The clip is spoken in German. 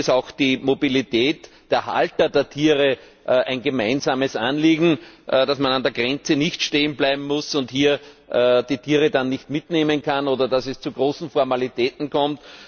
Hier ist auch die Mobilität der Halter der Tiere ein gemeinsames Anliegen dass man an der Grenze nicht stehen bleiben muss und die Tiere dann nicht mitnehmen kann oder dass es zu großen Formalitäten kommt.